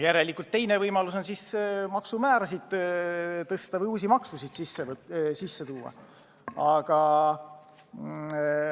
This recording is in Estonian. Järelikult teine ja parem võimalus on maksumäärasid tõsta või uusi makse kehtestada.